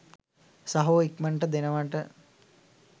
සහෝ ඉක්මනට දෙනවට